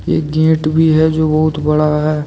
एक गेट भी हैं जो बहुत बड़ा है।